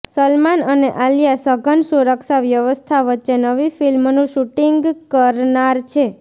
સલમાન અને આલિયા સઘન સુરક્ષા વ્યવસ્થા વચ્ચે નવી ફિલ્મનુ શુટિંગ કરનાર છે